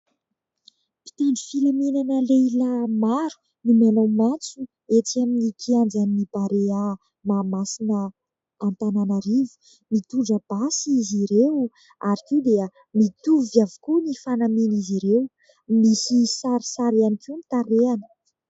Mpitandro filaminana lehilahy maro no manao matso etsy amin'ny kianjan'ny Barea Mahamasina Antananarivo. Mitondra basy izy ireo ary koa dia mitovy avokoa ny fanamian'izy ireo. Misy sarisary ihany koa ny tarehiny.